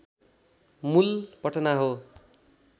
मूल पटना हो